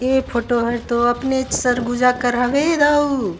ए photo हर तो अपने सरगुजा कर हवे दाऊ--